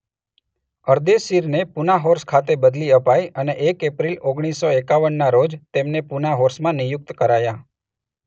અરદેશીરને Poona Horse ખાતે બદલી અપાઈ અને એક એપ્રિલ ઓગણીસ સો એકાવનના રોજ તેમને પૂના હોર્સમાં નિયુક્ત કરાયા.